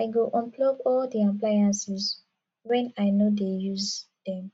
i go unplug all di appliances wen i no dey use dem